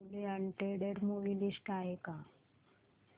newly added movie list आहे का